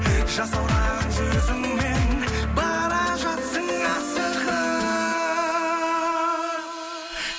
жасаураған жүзіңнен бара жатсың